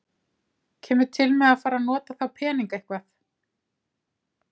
Kemur til með að fara að nota þá peninga eitthvað?